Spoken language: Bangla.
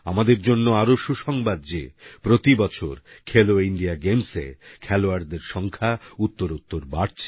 আমাদের জন্য আরো সুসংবাদ যে প্রতিবছর খেলো ইন্ডিয়া গেমসে খেলোয়াড়দের সংখ্যা উত্তরোত্তর বাড়ছে